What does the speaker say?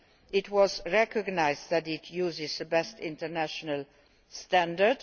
It was recognised that it uses the best international standard.